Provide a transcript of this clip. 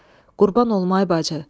Qurban olma, ay bacı!